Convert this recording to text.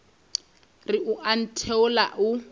re o a ntheola o